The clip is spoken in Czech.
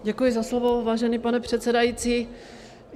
Děkuji za slovo, vážený pane předsedající.